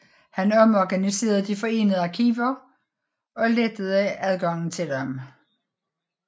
Han omorganiserede de forenede arkiver og lettede adgangen til dem